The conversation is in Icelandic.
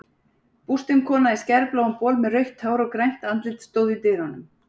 Bústin kona í skærbláum bol með rautt hár og grænt andlit stóð í dyrunum.